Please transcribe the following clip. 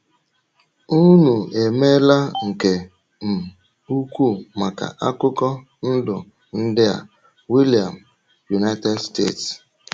Ụ́nụ emeela nke um ùkwù maka akụkọ ndụ ndị a.” — William, United States.